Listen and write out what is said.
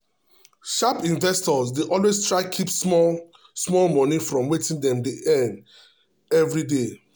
sharp investors dey always try keep small small money from wetin dem dey earn every day.